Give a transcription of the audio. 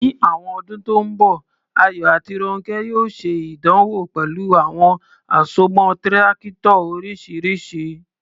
Ní àwọn ọdún tó ń bọ̀, Ayọ̀ àti Rónkẹ́ yóò ṣe ìdánwò pẹ̀lú àwọn àsomọ́ Tírákítọ̀ oríṣiríṣi.